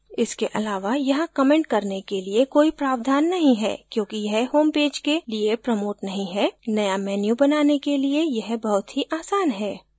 इसके अलावा यहाँ कमेंट करने के लिए कोई प्रावधान नहीं है क्योंकि यह home पेज के लिए प्रमोट नहीं है नया menu बनाने के लिए यह बहुत ही आसान है